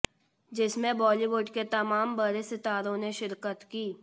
जिसमें बॉलीवुड के तमात बड़े सितारों ने शिरकत कीं